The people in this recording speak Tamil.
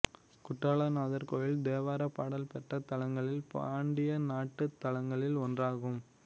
குற்றாலநாதர் கோயில் தேவாரப் பாடல் பெற்ற தலங்களில் பாண்டிய நாட்டுத் தலங்களில் ஒன்றாகும்